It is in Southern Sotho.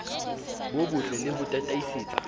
bo bottle le ho tataisetsa